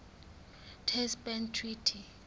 test ban treaty